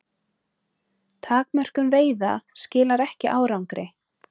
Takmörkun veiða skilar ekki árangri